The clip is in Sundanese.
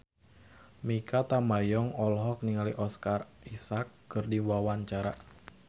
Mikha Tambayong olohok ningali Oscar Isaac keur diwawancara